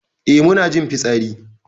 Eh mu na jin fitsari.